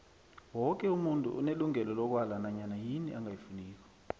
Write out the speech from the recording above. woke umuntu unelungelo lokwala nanyana yini angayifuniko